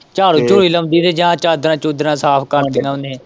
ਝਾੜੂ-ਝੜੂ ਹੀ ਲਾਉਂਦੀ ਰਹੀ ਜਾਂ ਚਾਂਦਰਾਂ-ਚੂਦਰਾਂ ਸਾਫ਼ ਕਰ ਦਿੱਤੀਆਂ ਉਹਨੇ।